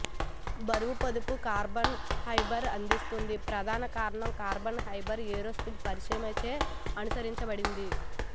బరువు పొదుపు carbon fibre అందిస్తుంది ప్రధాన కారణం కార్బన్ ఫైబర్ ఏరోస్పేస్ పరిశ్రమచే అనుసరించబడింది